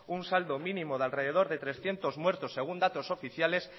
un saldo mínimo de alrededor de trescientos muertos según datos oficiales